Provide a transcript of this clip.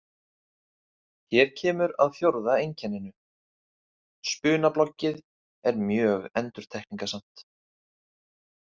Hér kemur að fjórða einkenninu: Spunabloggið er mjög endurtekningasamt.